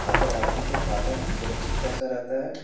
खाताधारकों के खाते में सुरक्षित पैसा रहता है।